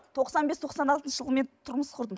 тоқсан бес тоқсан алтыншы жылы мен тұрмыс құрдым